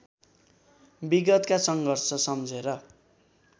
विगतका सङ्घर्ष सम्झेर